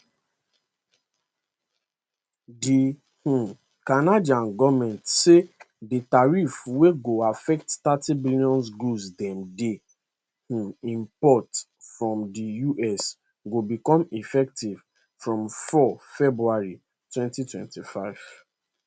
di um canadian goment say di tariff wey go affect thirty billion goods dem dey um import from di us go become effective from 4 february 2025